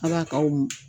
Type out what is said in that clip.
Ala kaw